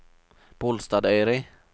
Bolstadøyri